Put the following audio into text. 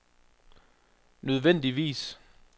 nødvendigvis